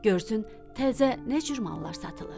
Görsün təzə nə cür mallar satılır?